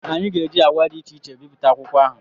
Anyị ga-eji agba dị iche iche bipụta akwụkwọ ahụ.